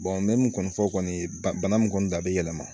n bɛ min kɔni fɔ kɔni bana min kɔni da bɛ yɛlɛma